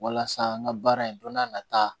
Walasa n ka baara in don n'a nata